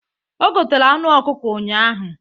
O gotere anụ ọkụkọ ụnyaahụ.